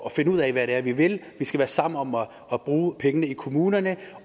at finde ud af hvad det er vi vil vi skal være sammen om om at bruge pengene i kommunerne